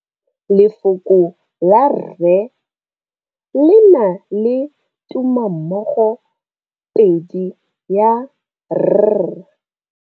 Lefoko la rre le na le tumammogôpedi ya, r.